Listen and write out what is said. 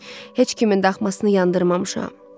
Heç kimin daxmasını yandırmamışam.